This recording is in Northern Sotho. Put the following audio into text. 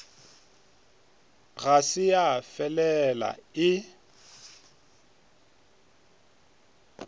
ga se ya felela e